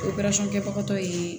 Operasɔn kɛbaga ye